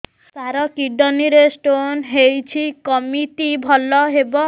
ସାର kidney ରେ stone ହେଇଛି କମିତି ଭଲ ହେବ